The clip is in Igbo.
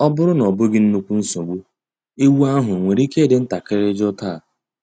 Ọ bụrụ na ọ bụghị nnukwu nsogbu, egwu ahụ nwere ike ịdị ntakịrị jụụ taa?